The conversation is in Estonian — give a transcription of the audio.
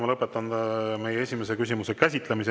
Ma lõpetan meie esimese küsimuse käsitlemise.